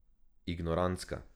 Ignorantska.